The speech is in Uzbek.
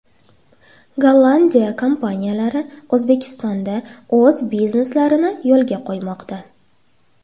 Gollandiya kompaniyalari O‘zbekistonda o‘z bizneslarini yo‘lga qo‘ymoqda.